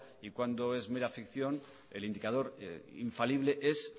y cuándo es mera ficción el indicador infalible es